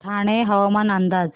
ठाणे हवामान अंदाज